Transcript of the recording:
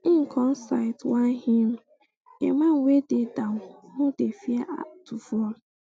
im come cite um one hymn a man wey dey down no dey um fear to fall